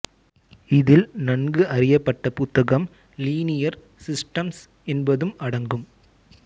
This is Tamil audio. இதில் நன்கு அறியப்பட்ட புத்தகம் லீனியர் சிஸ்டம்ஸ் என்பதும் அடங்கும்